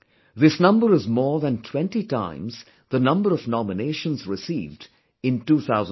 This number is more than 20 times the number of nominations received in 2014